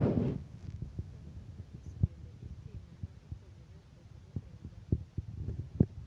Kata arus bende itimo ma opogore opogore e oganda gi